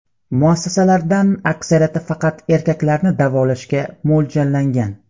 Muassasalardan aksariyati faqat erkaklarni davolashga mo‘ljallangan.